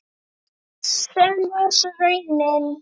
Sem varð svo raunin.